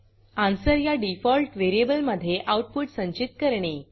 ANS या default व्हेरिएबलमधे output संचित करणे